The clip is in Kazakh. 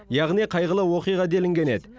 яғни қайғылы оқиға делінген еді